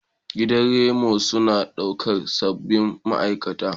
Gidan reno suna ɗaukar sabbin ma'aikata.